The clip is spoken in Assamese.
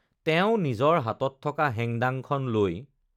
তেওঁ নিজৰ হাতত থকা হেং-দাঙখন লৈ